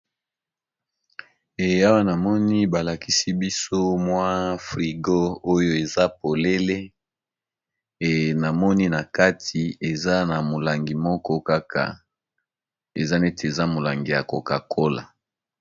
e awa namoni balakisi biso mwa frigo oyo eza polele ena moni na kati eamolangi moko kaka eza nete eza molangi ya coka cola